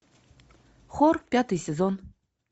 хор пятый сезон